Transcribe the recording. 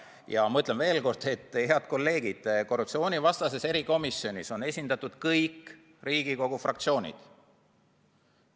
Ja ma ütlen veel kord, head kolleegid, korruptsioonivastases erikomisjonis on esindatud kõik Riigikogu fraktsioonid.